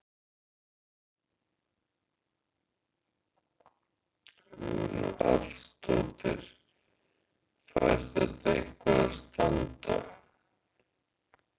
Hugrún Halldórsdóttir: Fær þetta eitthvað að standa?